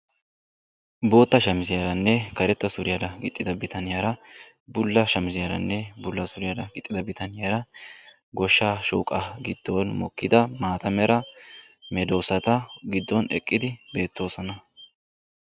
bootta shamiziyarane karetta suriyaa gixxida bittaniyara hegadanikka bulla shamiziyane suriya gixxida bittaniyara goshshaa gidoni eqidi maatta mera dozzatta eqqiidi de"oosona.